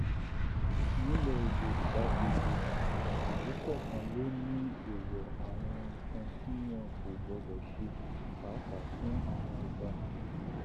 nílẹ yọrùbà gbogbo ìlú kọọkan ló ní èèwọ àwọn nǹkan tí wọn kò gbọdọ ṣe pàápàá fún àwọn ọba